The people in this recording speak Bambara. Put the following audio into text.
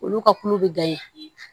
Olu ka kulo bɛ